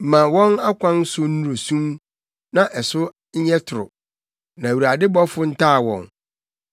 Ma wɔn akwan so nnuru sum na ɛso ɛnyɛ toro, na Awurade bɔfo ntaa wɔn.